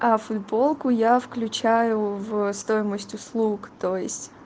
а футболку я включаю в стоимость услуг то есть